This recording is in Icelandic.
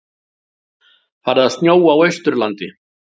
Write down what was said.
Farið að snjóa á Austurlandi